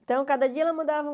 Então, cada dia ela mandava...